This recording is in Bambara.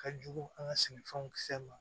Ka jugu an ka sɛnɛfɛnw kisɛ ma